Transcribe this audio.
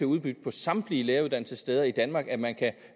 udbudt på samtlige læreruddannelsessteder i danmark at man kan